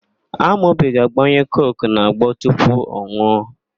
Amobi ga-agbanye koku n'agbo tupu ọ nụọ.